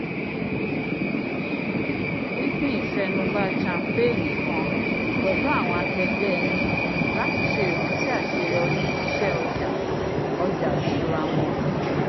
pinpin ìfẹnubá champagne kan pẹlu awọn akẹgbẹ ẹni lati ṣe ìrántí aṣeyọri iṣẹ-ọja ọja ìṣura wọn